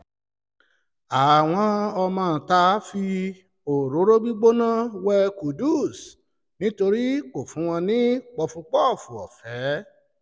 àwọn ọmọọ̀ta fi òróró gbígbóná um wé qudus nítorí kò fún wọn um ní pọ̀fúpọ́ọ̀fù ọ̀fẹ́